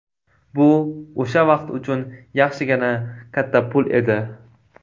Bu o‘sha vaqt uchun yaxshigina katta pul edi.